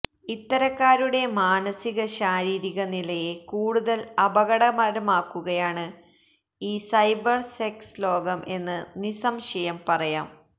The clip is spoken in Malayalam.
ഇത്തരക്കാരുടെ മാനസിക ശാരീരിക നിലയെ കൂടുതൽ അപകടകരമാക്കുകയാണ് ഈ സൈബർ സെക്സ് ലോകം എന്ന് നിസംശയം പറയാം